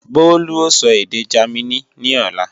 Bólú ó sọ èdè Jámínì ní ọ̀la